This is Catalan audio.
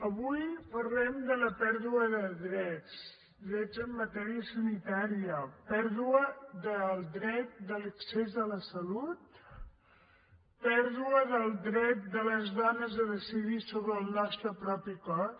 avui parlem de la pèrdua de drets drets en matèria sanitària pèrdua del dret de l’accés a la salut pèrdua del dret de les dones a decidir sobre el nostre propi cos